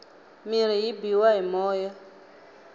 mirhi yi biwa hi moya